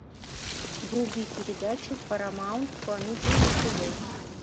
вруби передачу парамаунт комеди на тв